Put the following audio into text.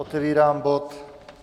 Otevírám bod